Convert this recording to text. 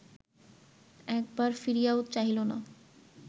একবার ফিরিয়াও চাহিল না